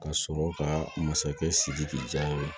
Ka sɔrɔ ka masakɛ sidiki ja ye